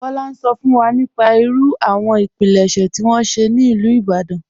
Kọla n sọ fún wa nípà ìrú àwọn ìpílẹ̀ṣẹ̀ tí wọn ṣẹ̀ ní Ilú Ìbàdàn..